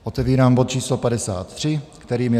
Otevírám bod číslo 53, kterým je